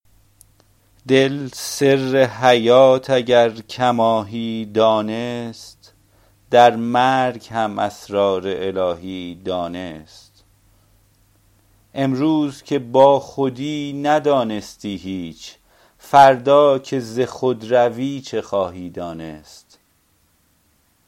دل سر حیات اگر کماهی دانست در مرگ هم اسرار الهی دانست امروز که با خودی ندانستی هیچ فردا که ز خود روی چه خواهی دانست